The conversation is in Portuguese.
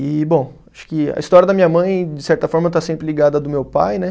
E, bom, acho que a história da minha mãe, de certa forma, está sempre ligada a do meu pai, né?